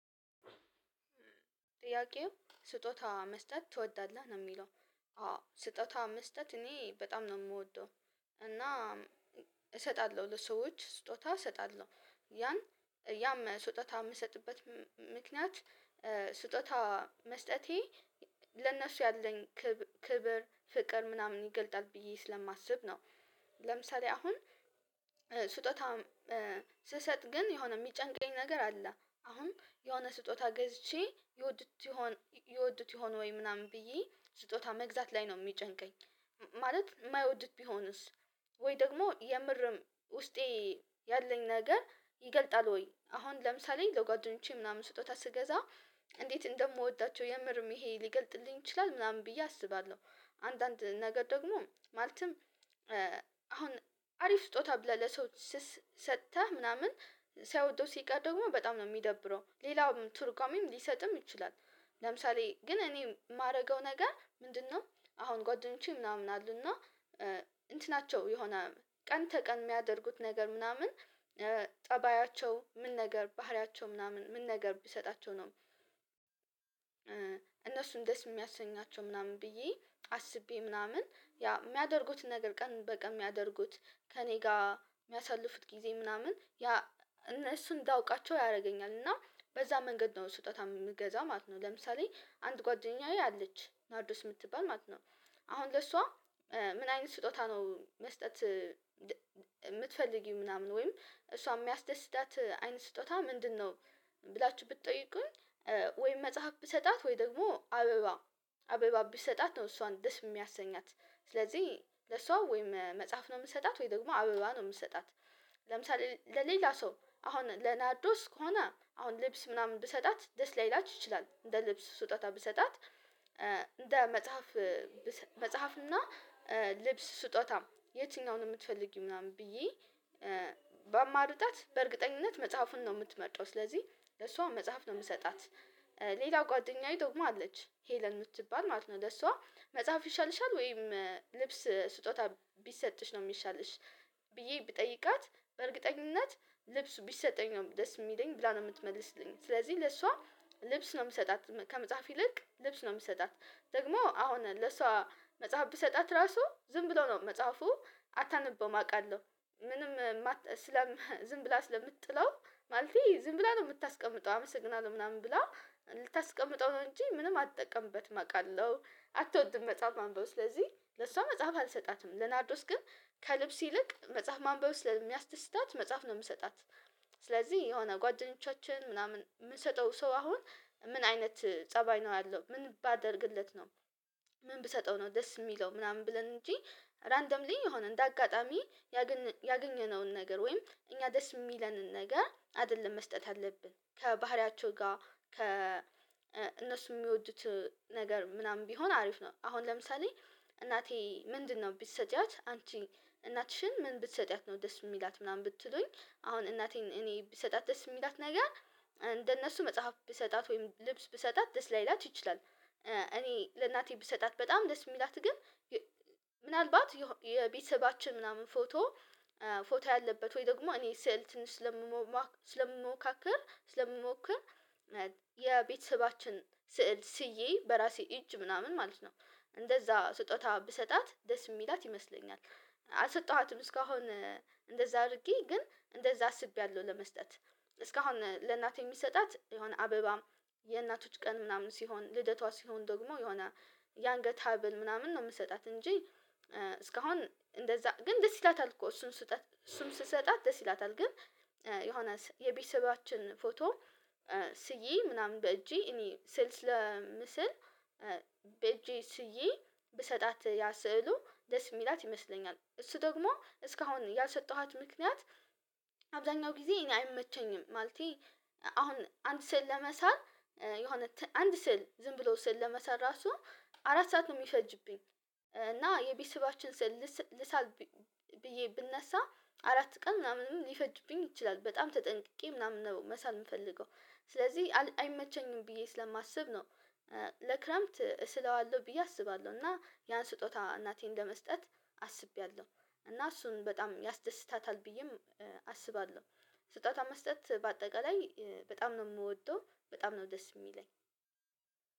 ጥያቄው ስጦታ መስጠት ትወዳለህ? ነው የሚለው አዎ ስጦታ መስጠት እኔ በጣም ነው የምወደው። እና እሰጣለሁ ለሰዎች ስጦታ እሰጣለሁ ያን ያም ስጦታ የምሰጥበት ምክንያት፤ ስጦታ መስጠቴ ለእነሱ ያለኝ ክብር፤ ፍቅር፤ ምናምን ይገልጣል ብዬ ስለማስብ ነው። ለምሳሌ አሁን ስጦታ ስሰጥ ግን የሆነ የሚጨንቀኝ ነገር አለ። አሁን የሆነ ስጦታ ገዝቼ ይወድት ይሆን ይወድት ይሆን ወይ? ምናምን ብዬ ስጦታ መግዛት ላይ ነው የሚጨንቀኝ። ማለት የማይወድት ቢሆንስ ወይ ደግሞ የምርም ውስጤ ያለኝ ነገር ይገልጣል ወይ አሁን ለምሳሌ ለጓደኞቼ ምናምን ስጦታ ስገዛ እንዴት እንደምወዳቸው የምርም ይሄ ሊገልጥልኝ ይችላል ምናምን ብዬ አስባለሁ። አንዳንድ ነገር ደግሞ ማለትም አሁን አሪፍ ስጦታ ብለህ ለሰው ሰጥተህ ምናምን ሳይወደው ሲቀር ደግሞ በጣም ነው የሚደብረው። ሌላውም ቱርጓሚም ሊሰጥም ይችላል ለምሳሌ ግን እኔ የማደርገው ነገር ምንድነው አሁን ጓደኞቼ ምናምን አሉና እና እንትናቸው የሆነ ቀን ተቀን የሚያደርጉት ነገር ምናምን ጠባያቸው ምን ነገር ባህሪያቸው ምናምን ምን ነገር ቢሰጣቸው ነው እነሱን ደስ የሚያሰኛቸው ምናምን ብዬ አስቤ ምናምን ያ የሚያደርጉትን ነገር ቀን በቀን የሚያደርጉት፤ ከእኔ ጋር የሚያሳልፉት ጊዜ ምናምን ያ እነሱ እንዳውቃቸው ያደርገኛል እና በዛ መንገድ ነው ስጦታ የምትገዛ ማለት ነው። ለምሳሌ አንድ ጓደኛዬ አለች ናርዳስ የምትባል ማለት ነው አሁን ለሷ ምን አይነት ስጦታ ነው መስጠት የምትፈልጊው ምናምን ወይም እሷ የሚያስደስታት አይነት ስጦታ ምንድነው ብላችሁ ብትጠይቁኝ ወይም መጽሐፍ ብሰጣት ወይ ደግሞ አበባ አበባ ቢሰጣት ነው እሷን ደስ የሚያሰኛት። ስለዚህ ለሷ ወይም መጽሐፍ ነው የምትሰጣት ወይ ደግሞ አበባ ነው የምትሰጣት። ለምሳሌ ለሌላ ሰው አሁን ለናርዶስ ከሆነ አሁን ልብስ ምናምን ብትሰጣት ደስ ላይላት ይችላል። እንደ ልብስ ስጦታ ብትሰጣት እንደ መጽሐፍ መጽሐፍና ልብስ ስጦታ የትኛውን የምትፈልጊ ምናምን ብዬ በማርጣት በእርግጠኝነት መጽሐፉን ነው የምትመጣው ስለዚህ ለሷ መጽሐፍ ነው የምትሰጣት። ሌላው ጓደኛዬ ደግሞ አለች ሄለን የምትባል ማለት ነው፤ ለሷ መጽሐፍ ይሻልሻል ወይም ልብስ ስጦታ ቢሰጥሽ ነው የሚሻልሽ ብዬ ብጠይቃት በእርግጠኝነት ልብሱ ቢሰጠኝ ነው ደስ የሚለኝ ብላ ነው የምትመልስልኝ። ስለዚህ ለሷ ልብስ ነው የምትሰጣት ከመጽሐፍ ይልቅ ልብስ ነው የምትሰጣት። ደግሞ አሁን ለሷ መጽሐፍ ብሰጣት ራሱ ዝም ብሎ ብለው ነው መጽሐፉ አታንበውም አውቃለሁ ምንም ስለ ዝም ብላ ስለምትጥለው፤ ማለት ዝም ብላ ነው የምታስቀምጠው አመሰግናለሁ ምናምን ብላ፤ ልታስቀምጠው ነው እንጂ ምንም አትጠቀምበትም አውቃለሁ፤ አትወጥም መጽሐፍ ማንበው፤ ስለዚህ ለሷ መጽሐፍ አልሰጣትም። ለናዶስ ግን ከልብስ ይልቅ መጽሐፍ ማንበው ስለሚያስደስታት መጽሐፍ ነው የምሰጣት። ስለዚህ የሆነ ጓደኞቻችን ምናምን የምንሰጠው ሰው አሁን ምን አይነት ፀባይ ነው ያለው ምን ባደርግለት ነው ምን ብሰጠው ነው ደስ የሚለው ምናምን ብለን እንጂ ራንደምሊ የሆነ እንደ አጋጣሚ ያገኘነውን ነገር ወይም እኛ ደስ የሚለንን ነገር አይደለም መስጠት አለብን። ከባህሪያቸው ጋር ከ እነሱ የሚወዱት ነገር ምናምን ቢሆን አሪፍ ነው፤ አሁን ለምሳሌ እናቴ ምንድነው ብትሰጪያት አንቺ እናትሽን ምን ብትሰጪያት ነው ደስ የምትላት ምናምን ብትሉኝ አሁን እናቴን እኔ ብሰጣት ደስ የምትላት ነገር እንደነሱ መጽሐፍ ብሰጣት ወይም ልብስ ብሰጣት ደስ ላይላት ይችላል። እኔ ለእናቴ ብሰጣት በጣም ደስ የሚላት ግን ምናልባት የቤተሰባችን ምናምን ፎቶ ፎቶ ያለበት ወይ ደግሞ እኔ ስዕል ስለምሞካከር ስለምሞክር የቤተሰባችን ስዕል ስዬ በራሴ እጅ ምናምን ማለት ነው እንደዛ ስጦታ ብሰጣት ደስ የሚላት ይመስለኛል። አልሰጠኋትም እስካሁን እንደዛ አድርጌ ግን እንደዛ አስቤያለሁ ለመስጠት። እስካሁን ለእናቴ የሚሰጣት የሆነ አበባም፤ የእናቶች ቀን ምናምን ሲሆን ልደቷ ሲሆን ደግሞ የሆነ የአንገት ሀብል ምናምን ነው የምትሰጣት። እንጂ እስካሁን እንደዛ ግን ደስ ይላታል እኮ፤ እሱን ስህተት እሱን ስሰጣት ደስ ይላታል ግን የሆነ የቤተሰባችን ፎቶ ስዬ ምናምን በእጄ እኔ ስዕል ስለምስል በእጄ ስዬ ብሰጣት ያ ስዕሉ ደስ የሚላት ይመስለኛል። እሱ ደግሞ እስካሁን ያልሰጠኋት ምክንያት አብዛኛው ጊዜ እኔ አይመቸኝም ማለቴ አሁን አንድ ስዕል ለመሳል የሆነ አንድ ስዕል ዝም ብሎ ስዕል ለመሳል እራሱ አራት ሰዓት ነው የሚፈጅብኝ እና የቢስባችን ስል ልሳል ብዬ ብነሳ አራት ቀን ምናምንም ሊፈጅብኝ ይችላል። በጣም ተጠንቅቄ ምናምን ነው መሳል የምፈልገው። ስለዚህ አይመቸኝም ብዬ ስለማስብ ነው ለክረምት እሰለዋለሁ ብዬ አስባለሁ እና ያን ስጦታ እናቴን ለመስጠት አስቤያለሁ። እና እሱን በጣም ያስደስታታል ብዬም አስባለሁ። ስጦታ መስጠት በአጠቃላይ በጣም ነው የምወደው በጣም ነው ደስ የሚለኝ።